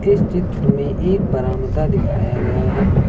इस चित्र में एक बरामदा दिखाया गया है।